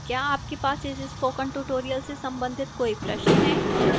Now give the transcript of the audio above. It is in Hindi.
क्या आपके पास इस spoken tutorial से संबंधित कोई प्रश्न है